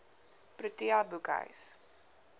protea boekhuis